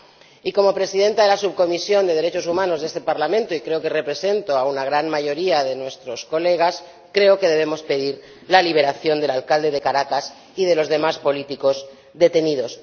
Y, como presidenta de la Subcomisión de Derechos Humanos de este Parlamento, y creo que represento a una gran mayoría de nuestros colegas, creo que debemos pedir la liberación del alcalde de Caracas y de los demás políticos detenidos.